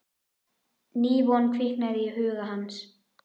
Ný von kviknaði í huga hans.